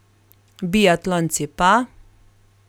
Biatlonci pa ...